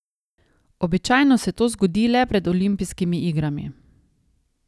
Običajno se to zgodi le pred olimpijskimi igrami.